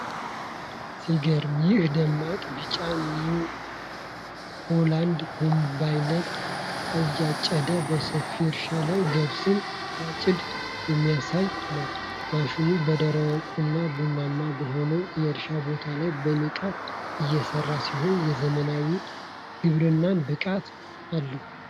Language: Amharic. ሲገርም! ይህ ደማቅ ቢጫ ኒው ሆላንድ ኮምባይን አጫጅ በሰፊ እርሻ ላይ ገብስን ሲያጭድ የሚያሳይ ነው። ማሽኑ በደረቁና ቡናማ በሆነው የእርሻ ቦታ ላይ በንቃት እየሰራ ሲሆን፣ የዘመናዊ ግብርናን ብቃት አለው።